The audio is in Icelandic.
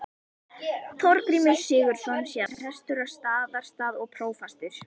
Þorgrímur Sigurðsson, síðar prestur á Staðarstað og prófastur.